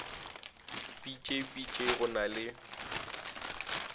bj bj go na le